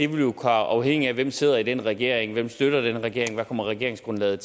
vil afhænge af hvem der sidder i den regering hvem der støtter den regering hvad regeringsgrundlaget